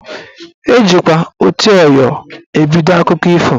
Ejikwa "oti ọyọ " ebido akụkọ ifo